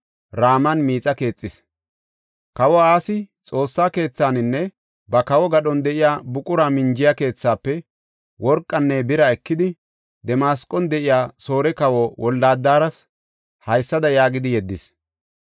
Kawoy Asi Xoossa keethaninne ba kawo gadhon de7iya buqura minjiya keethaafe worqanne bira ekidi Damasqon de7iya Soore kawa Wolde-Adaras haysada yaagidi yeddis.